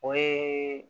O ye